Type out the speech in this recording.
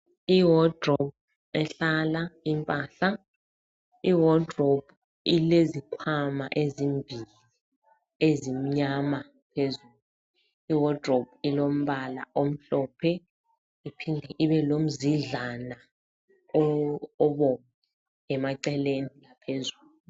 Iwodirobhu ehlala impahla, iwodirobhu ilezikhwama ezimbili ezimnyama phezulu. Iwodirobhu ilombala omhlophe iphinde ibelomzidlana obomvu emaceleni phezulu.